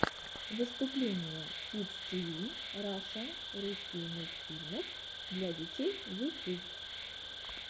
выступление кидс тиви раша русский мультфильмов для детей ютюб